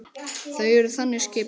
Þau eru þannig skipuð.